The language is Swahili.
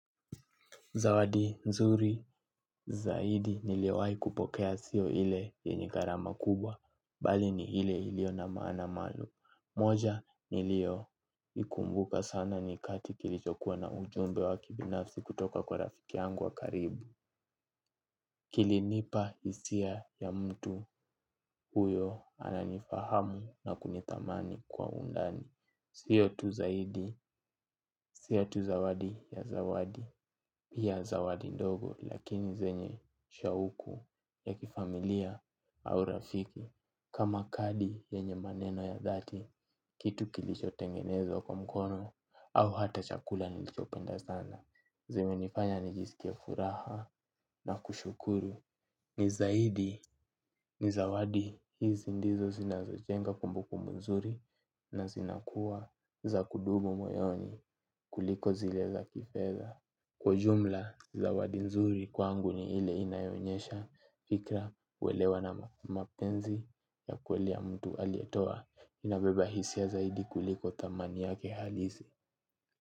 Zawadi, nzuri, zaidi, niliwai kupokea sio ile yenye gharama kubwa, bali ni ile ilio na maana malum. Moja, niliyo, ikumbuka sana nikati kilichokuwa na ujumbe wa kibinafsi kutoka kwa rafiki yangu wa karibu. Kilinipa hisia ya mtu huyo ananifahamu na kunithamani kwa undani. Siyo tu zaidi, sio tu zawadi ya zawadi. Pia zawadi ndogo lakini zenye shawuku ya kifamilia au rafiki kama kadi zenye maneno ya dhati kitu kilicho tengenezwa kwa mkono au hata chakula nilicho penda sana. Zemenifanya nijisikie furaha na kushukuru. Ni zaidi, ni zawadi. Hizi ndizo zinazojenga kumbuku nzuri na zinakuwa za kudumu moyoni kuliko zile za kifedha. Kwa ujumla zawadi nzuri kwangu ni ile inayo onyesha fikra uwelewana mapenzi ya kweli ya mtu aliyetoa inabeba hisia zaidi kuliko thamani yake halisi.